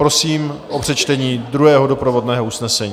Prosím o přečtení druhého doprovodného usnesení.